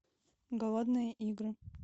голодные игры